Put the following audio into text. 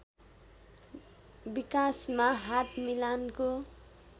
विकासमा हात मिलानको